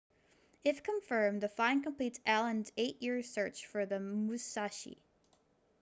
if confirmed the find completes allen's eight-year search for the musashi